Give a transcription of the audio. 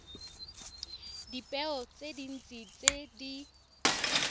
dipeo tse dintsi tse di